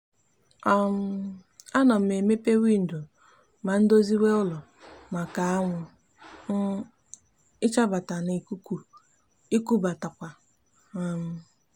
um a no m emepe windo ma ndoziwe ulo maka awu um ichabata na ikuku ikubatakwa um